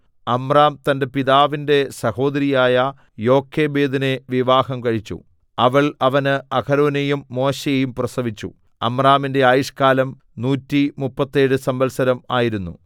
അമ്രാം തന്റെ പിതാവിന്റെ സഹോദരിയായ യോഖേബെദിനെ വിവാഹം കഴിച്ചു അവൾ അവന് അഹരോനെയും മോശെയെയും പ്രസവിച്ചു അമ്രാമിന്റെ ആയുഷ്കാലം നൂറ്റിമുപ്പത്തേഴ് സംവത്സരം ആയിരുന്നു